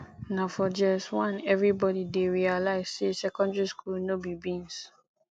na for js1 everybody dey realize say secondary school no be beans